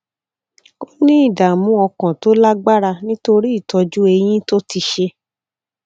ó ní ìdààmú ọkàn tó lágbára nítorí ìtọjú eyín tó ti ṣe